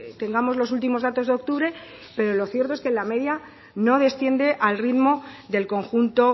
tengamos los últimos datos de octubre pero lo cierto es que la media no desciende al ritmo del conjunto